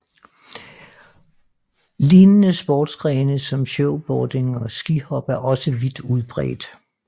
Lignende sportsgrene som snowboarding og skihop er også vidt udbredt